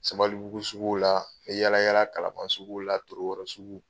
Sabalibugu sugu la, n bɛ yaala yaara Kalaban sugu la, Torokoro sugu